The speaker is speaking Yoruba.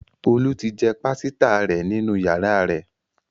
Olu tí jé pàsìta rẹ nínú yàrá rè